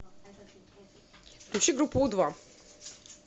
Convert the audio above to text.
включи группу у два